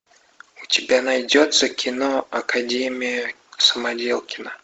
у тебя найдется кино академия самоделкина